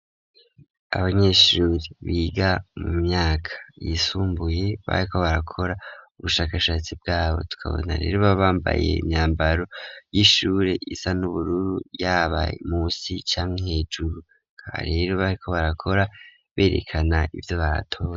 Abanyeshuri biga mu myaka yisumbuye, bariko barakora ubushakashatsi bwabo, tukabona rero baba bambaye imyambaro y'ishure isa n'ubururu, yaba munsi canke hejuru, aha rero bariko barakora berekana ivyo batoye.